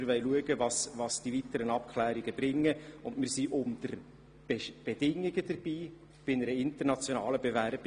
Wir wollen schauen, was die weiteren Abklärungen bringen und sind unter gewissen Bedingungen bei der internationalen Bewerbung dabei.